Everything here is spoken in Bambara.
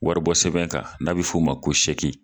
Wari bɔ sɛbɛn kan n'a bɛ f'o ma ko .